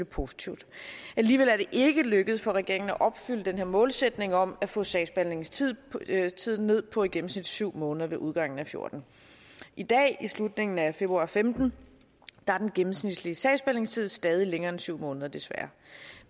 positivt alligevel er det ikke lykkes for regeringen at opfylde den her målsætning om at få sagsbehandlingstiden ned på i gennemsnit syv måneder ved udgangen af og fjorten i dag ved slutningen af februar og femten er den gennemsnitlige sagsbehandlingstid stadig længere end syv måneder desværre